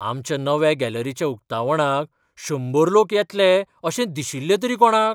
आमच्या नव्या गॅलरीच्या उक्तावणाक शंबर लोक येतले अशें दिशिल्लें तरी कोणाक?